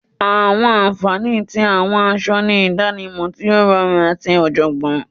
Awọn anfani ti awọn aṣọ ni idanimọ ti o rọrun ati ọjọgbọn.